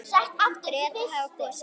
Bretar hafa kosið.